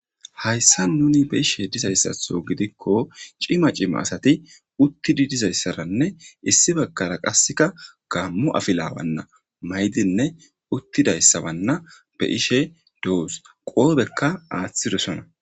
hayssa nuni be ishe dizayssatho gidikko cima cima asati uttidi dizayssaranne issi baggara qasseka gammu afilawanna maydinne uttidayssabanna be ishe doos qoobekka aaththidosona